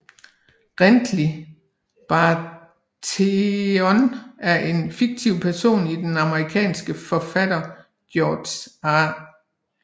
Renly Baratheon er en fiktiv person i den amerikanske forfatter George R